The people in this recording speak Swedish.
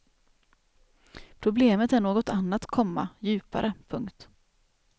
Problemet är något annat, komma djupare. punkt